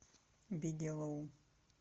бигелоу